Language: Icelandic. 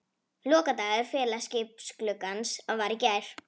Lokadagur félagaskiptagluggans var í gær.